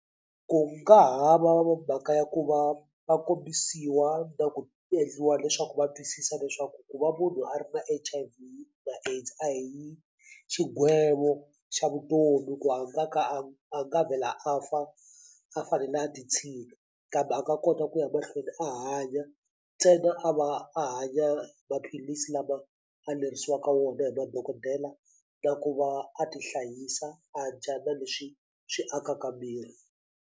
Ku nga ha va mhaka ya ku va va kombisiwa na ku endliwa leswaku va twisisa leswaku ku va munhu a ri na H_I_V na AIDS a hi xigwevo xa vutomi ku a nga ka a a nga vhela a fa a fanele a ti kambe a nga kota ku ya mahlweni a hanya ntsena a va a hanya maphilisi lama a lerisiwaka wona hi madokodela na ku va a tihlayisa a dya na leswi swi akaka miri.